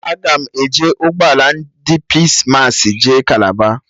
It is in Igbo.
Aga m eji ụgbọ ala ndị Pis massị jee Kalaba